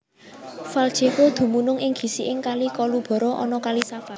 Valjevo dumunung ing gisiking Kali Kolubara anak Kali Sava